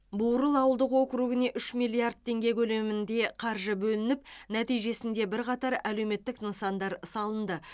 бурыл ауылдық округіне үш миллиард теңге көлемінде қаржы бөлініп нәтижесінде бірқатар әлеуметтік нысандар салынды